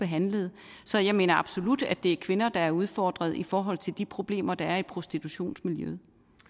handlede så jeg mener absolut at det er kvinder der er udfordret i forhold til de problemer der er i prostitutionsmiljøet